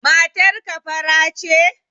Matar ka fara ce?